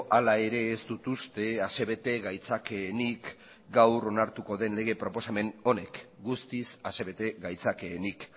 ala ere ez dut uste asebete gaitzakeenik gaur onartuko den lege proposamen honek guztiz asebete gaitzakeenik